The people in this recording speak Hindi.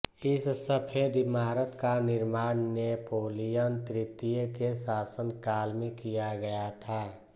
इस सफेद इमारत का निर्माण नेपोलियन तृतीय के शासन काल में किया गया था